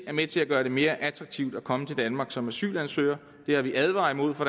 er med til at gøre det mere attraktivt at komme til danmark som asylansøger det har vi advaret imod fra